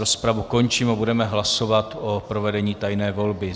Rozpravu končím a budeme hlasovat o provedení tajné volby.